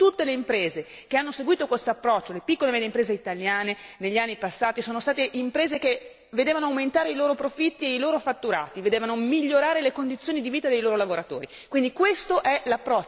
Io posso dire con orgoglio che tutte le imprese che hanno seguito questo approccio, le piccole e medie imprese italiane, negli anni passati, sono state imprese che vedevano aumentare i loro profitti e i loro fatturati e vedevano migliorare le condizioni di vita dei loro lavoratori.